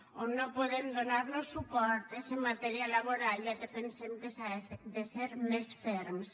on no podem donarlos suport és en matèria laboral ja que pensem que s’ha de ser més ferms